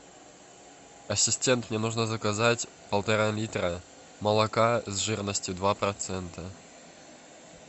ассистент мне нужно заказать полтора литра молока с жирностью два процента